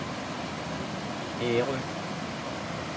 Ærø